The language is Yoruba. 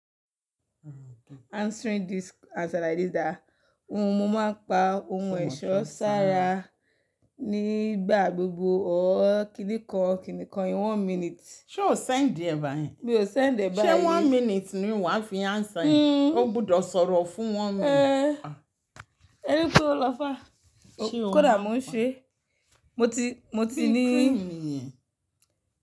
Answering this answer like this that, ohun mo máa ń pa ohun ẹ̀ṣọ́ sára nígbà gbogbo or. Kìni kan kini kan in one minute. Ṣé o send ẹ báyìí? Mi ò send ẹ báyìí. Ṣé one minute ni wà á fi answer e? O gbọdọ̀ sọ̀rọ̀ fún one minute eh. Ẹ rí pé o lọ fàa. Kódà mo ń ṣe. Mo ti, mo ti ní cream ni yẹn.